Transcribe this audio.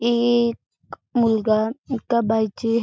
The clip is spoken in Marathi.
एक मुलगा एका बाईचे--